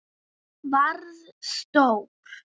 Varð stór.